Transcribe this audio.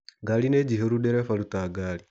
Ngari nĩ njihũru, ndereba ruta ngari